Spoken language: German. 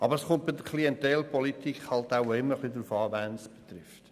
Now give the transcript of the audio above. Aber es kommt bei der Klientelpolitik auch immer darauf an, wen es trifft.